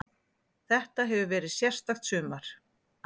Þetta hefur verið sérstakt sumar.